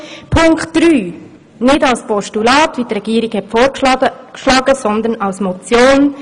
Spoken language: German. Punkt drei möchten wir nicht wie die Regierung vorschlägt als Postulat, sondern als Motion überweisen lassen.